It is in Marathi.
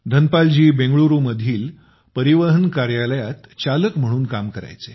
धनपाल जी बेंगळुरूमधील परिवहन कार्यालयात चालक म्हणून काम करायचे